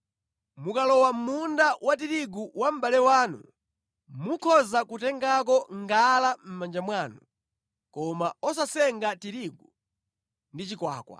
Mukalowa mʼmunda wa tirigu wa mʼbale wanu, mukhoza kutengako ngala mʼmanja mwanu, koma osasenga tirigu ndi chikwakwa.